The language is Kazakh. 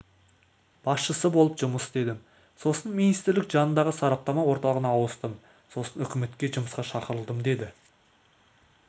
басшысы болып жұмыс істедім сосын министрлік жанындағы сараптама орталығына ауыстым сосын үкіметке жұмысқа шақырылдым деді